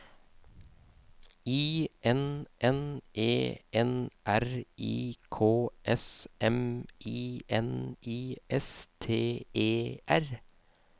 I N N E N R I K S M I N I S T E R